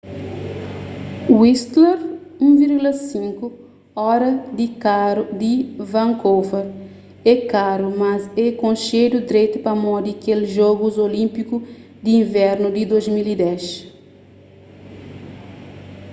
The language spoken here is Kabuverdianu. whistler 1,5 óra di karu di vancouver é karu mas é konxedu dretu pamodi kel jogus olínpiku di invernu di 2010